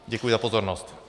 Děkuji za pozornost.